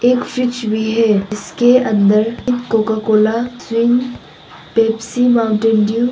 एक फ्रिज भी है जिसके अंदर एक Coca Cola string Pepsi Mountain Dew --